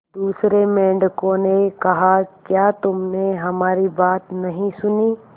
दूसरे मेंढकों ने कहा क्या तुमने हमारी बात नहीं सुनी